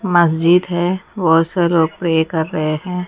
मस्जिद है बहोत से लोग प्रेय कर रहे हैं।